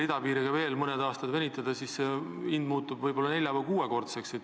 Kui idapiiriga veel mõned aastad venitada, siis hind tõuseb võib-olla nelja- või kuuekordseks.